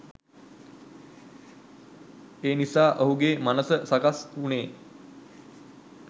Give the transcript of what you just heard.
එනිසා ඔහුගේ මනස සකස් වුණේ